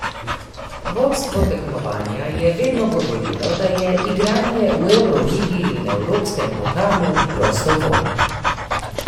Vodstvo tekmovanja je vedno govorilo, da je igranje v evroligi in evropskem pokalu prostovoljno.